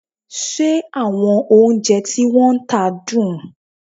Ṣé àwọn oúnjẹ tí wọ́n ń tà dùn?